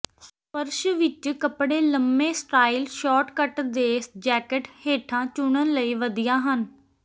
ਫਰਸ਼ ਵਿੱਚ ਕਪੜੇ ਲੰਮੇ ਸਟਾਈਲ ਸ਼ੌਰਟ ਕੱਟ ਦੇ ਜੈਕਟ ਹੇਠਾਂ ਚੁਣਨ ਲਈ ਵਧੀਆ ਹਨ